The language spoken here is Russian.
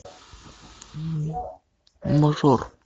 мажор